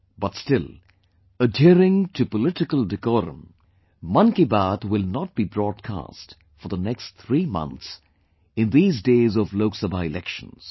But still, adhering to political decorum, 'Mann Ki Baat' will not be broadcast for the next three months in these days of Lok Sabha elections